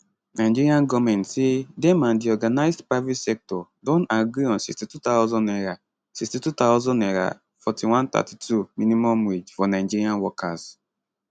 nigeria goment say dem and di organised private sector don agree on 62000 naira 62000 naira 41 32 minimum wage for nigeria workers